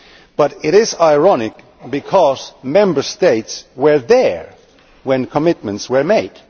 But it is ironic because Member States were there when commitments were made.